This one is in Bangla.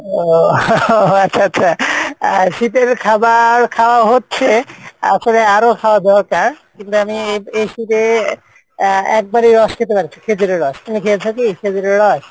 ও আচ্ছা আচ্ছা, আহ শীতের খাবার খাওয়া হচ্ছে আসলে আরো খাওয়া দরকার কিন্তু আমি এই শীতে আহ একবারই রস খেতে পারছি খেজুরের রস, তুমি খেয়েছো কি খেজুরের রস?